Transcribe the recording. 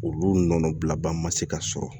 Olu nɔnɔ bila ban ma se ka sɔrɔ